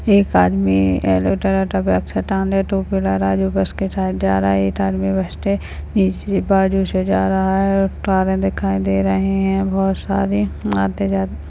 एक आदमी जो उसके साथ जा रहा है एक आदमी उसके नीचे बाजु से जा रहा है कारे दिखाई दे रहे है बहोत सारे आते जा --